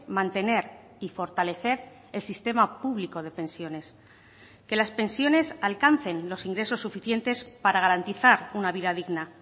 mantener y fortalecer el sistema público de pensiones que las pensiones alcancen los ingresos suficientes para garantizar una vida digna